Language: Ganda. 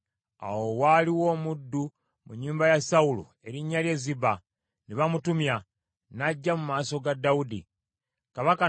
Awo waaliwo omuddu mu nnyumba ya Sawulo erinnya lye Ziba. Ne bamutumya, n’ajja mu maaso ga Dawudi. Kabaka n’amubuuza nti, “Ggwe Ziba?” N’addamu nti, “Nze wuuyo omuddu wo.”